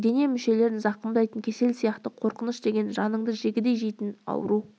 дене мүшелерін зақымдайтын кесел сияқты қорқыныш деген жаныңды жегідей жейтін ауру